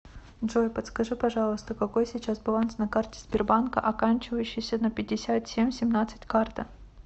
джой подскажи пожалуйста какой сейчас баланс на карте сбербанка оканчивающейся на пятьдесят семь семнадцать карта